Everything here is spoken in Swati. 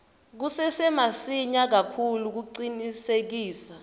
kusesemasinya kakhulu kucinisekisa